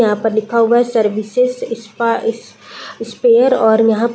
यहाँ पर लिखा हुआ है सर्विसेज स्पा इस स्पेयर और यहाँ --